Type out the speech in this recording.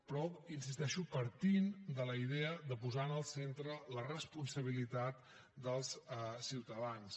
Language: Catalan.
però hi insisteixo partint de la idea de posar en el centre la responsabilitat dels ciutadans